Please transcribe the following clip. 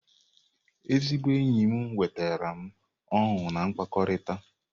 Ezigbo enyi m ewetala m ọṅụ na mkpakọrịta.